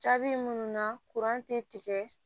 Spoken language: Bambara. Jaabi minnu na tɛ tigɛ